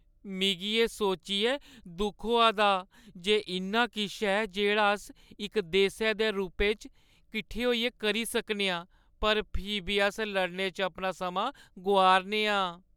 मिगी एह् सोच्चियै दुख होआ दा जे इन्ना किश ऐ जेह्ड़ा अस इक देसै दे रूपै इच्च किट्ठे होइयै करी सकने आं पर फ्ही बी अस लड़ने च अपना समां गोआ‘रने आं ।